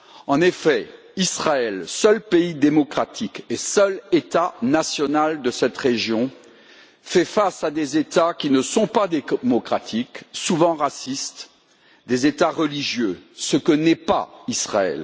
En effet, Israël, seul pays démocratique et seul État national de cette région, fait face à des États qui ne sont pas démocratiques, des États souvent racistes, religieux, ce que n'est pas Israël.